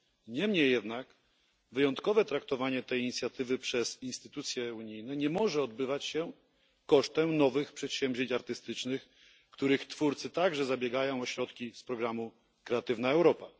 Niemniej jednak wyjątkowe traktowanie tej inicjatywy przez instytucje unijne nie może odbywać się kosztem nowych przedsięwzięć artystycznych, których twórcy także zabiegają o środki z programu Kreatywna Europa.